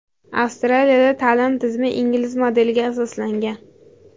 Avstraliyada ta’lim tizimi ingliz modeliga asoslangan.